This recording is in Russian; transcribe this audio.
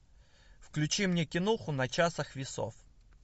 включи мне киноху на часах весов